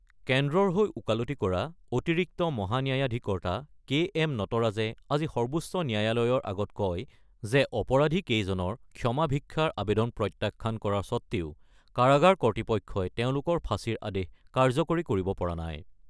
কেন্দ্ৰৰ হৈ ওকালতি কৰা অতিৰিক্ত মহান্যায়াধীকৰ্তা কে এম নটৰাজে আজি সৰ্বোচ্চ ন্যয়ালয়ৰ আগত কয় যে অপৰাধী কেইজনৰ ক্ষমা ভিক্ষাৰ আবেদন প্ৰত্যাখ্যান কৰা স্বত্তেও কাৰাগাৰ কৰ্তৃপক্ষই তেওঁলোকৰ ফাঁচীৰ আদেশ কাৰ্যকৰী কৰিব পৰা নাই।